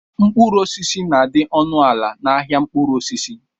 Mkpụrụ osisi na-adị ọnụ ala n'ahia mkpụrụ osisi.